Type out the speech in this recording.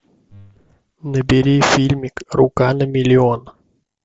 набери фильмик рука на миллион